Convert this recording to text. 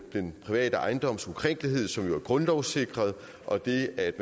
den private ejendoms ukrænkelighed som jo er grundlovssikret og det at